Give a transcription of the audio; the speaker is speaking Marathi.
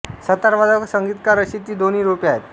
सतारवादक व संगीतकार अशी ती दोन रूपे होती